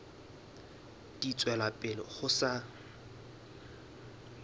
di tswela pele ho sa